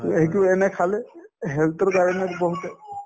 to এইটো এনে খালে health তোৰ কাৰণেও বহুতে